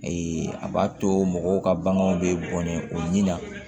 a b'a to mɔgɔw ka baganw bɛ bɔnɛ o ɲini na